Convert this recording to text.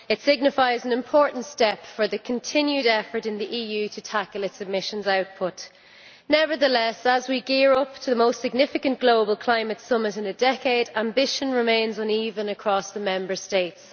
It signifies an important step for the continued effort in the EU to tackle its emissions output. Nevertheless, as we gear up for the most significant global climate summit in a decade, ambition remains uneven across the Member States.